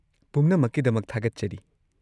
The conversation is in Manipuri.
ꯄꯨꯝꯅꯃꯛꯀꯤꯗꯃꯛ ꯊꯥꯒꯠꯆꯔꯤ꯫